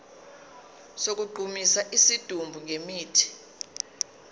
sokugqumisa isidumbu ngemithi